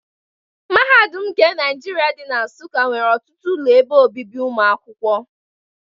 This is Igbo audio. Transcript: Mahadum nke Naijiria dị na Nsukka nwere ọtụtụ ụlọ ebe obibi ụmụakwụkwọ.